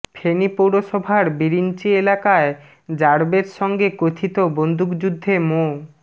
ফেনী পৌরসভার বিরিঞ্চি এলাকায় র্যা বের সঙ্গে কথিত বন্দুকযুদ্ধে মো